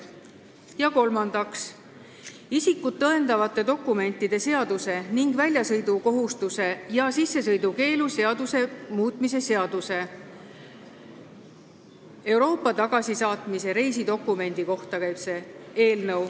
Ja kolmandaks, isikut tõendavate dokumentide seaduse ning väljasõidukohustuse ja sissesõidukeelu seaduse muutmise seaduse eelnõu, mis käib Euroopa tagasisaatmise reisidokumendi kohta.